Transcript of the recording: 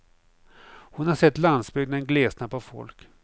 Hon har sett landsbygden glesna på folk.